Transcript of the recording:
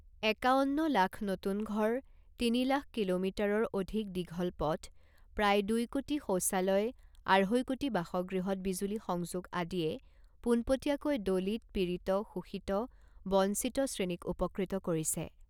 একাৱন্ন লাখ নতুন ঘৰ, তিনি লাখ কিলোমিটাৰৰ অধিক দীঘল পথ, প্ৰায় দুই কোটি শৌচালয়, আঢ়ৈ কোটি বাসগৃহত বিজুলী সংযোগ আদিয়ে পোনপটীয়াকৈ দলিত, পীড়িত, শোষিত, বঞ্চিত শ্ৰেণীক উপকৃত কৰিছে।